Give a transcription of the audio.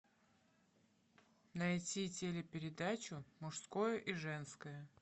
найти телепередачу мужское и женское